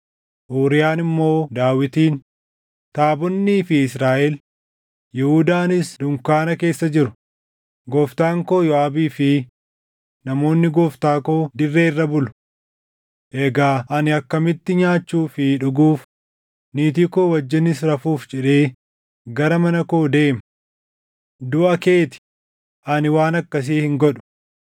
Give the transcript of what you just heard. Uuriyaan immoo Daawitiin, “Taabonnii fi Israaʼel, Yihuudaanis dunkaana keessa jiru; gooftaan koo Yooʼaabii fi namoonni gooftaa koo dirree irra bulu. Egaa ani akkamitti nyaachuu fi dhuguuf, niitii koo wajjinis rafuuf jedhee gara mana koo deema? Duʼa kee ti; ani waan akkasii hin godhu!”